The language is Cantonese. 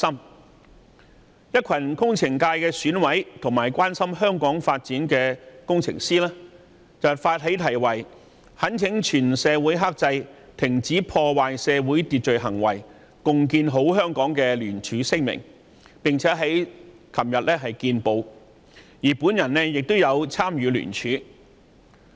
為此，一群工程界選委和關心香港發展的工程師發起題為"懇請全社會克制、停止破壞社會秩序行為、共建好香港"的聯署行動，有關聲明已於昨天登報，我亦有參與聯署。